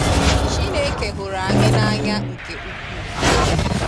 Chineke huru anyi na-anya nke ukwuu